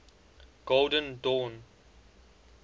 golden dawn